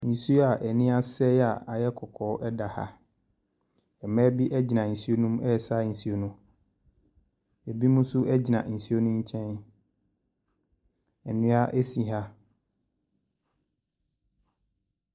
Nsuo a ani asɛe a ayɛ kɔkɔɔ da ha. Mmaa bi gyina nsuo no mu resa nsuo no. Ebinom nso gyina nsuo no nkyɛn. Nnua si ha.